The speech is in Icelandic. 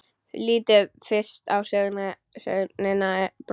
Lítum fyrst á sögnina brosa: